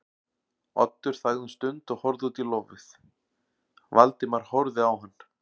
Oddur þagði um stund og horfði út í lofið, Valdimar horfði á hann.